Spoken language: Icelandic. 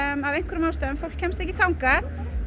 að einhverjum ástæðum kemst ekki þangað